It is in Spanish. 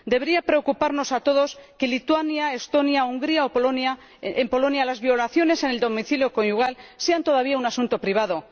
Debería preocuparnos a todos que en Lituania, Estonia, Hungría o Polonia las violaciones en el domicilio conyugal sean todavía un asunto privado.